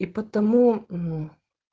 и потому мм